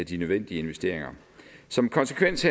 de nødvendige investeringer som konsekvens